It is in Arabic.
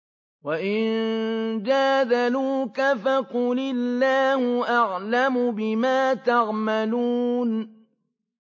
وَإِن جَادَلُوكَ فَقُلِ اللَّهُ أَعْلَمُ بِمَا تَعْمَلُونَ